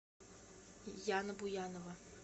яна буянова